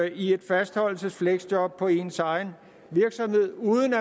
i et fastholdelsesfleksjob på ens egen virksomhed uden